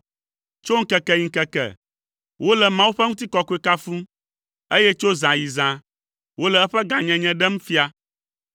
Tso ŋkeke yi ŋkeke, wole Mawu ƒe ŋutikɔkɔe kafum, eye tso zã yi zã, wole eƒe gãnyenye ɖem fia.